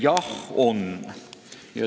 Jah, on.